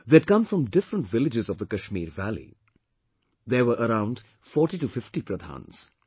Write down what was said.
They had come from different villages of the Kashmir valley, there were around 4050 Pradhans